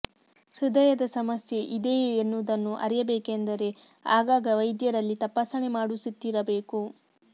ಹೃದಯದ ಸಮಸ್ಯೆ ಇದೆಯೇ ಎನ್ನುವುದನ್ನು ಅರಿಯಬೇಕೆಂದರೆ ಆಗಾಗ ವೈದ್ಯರಲ್ಲಿ ತಪಾಸಣೆ ಮಾಡಿಸುತ್ತಿರಬೇಕು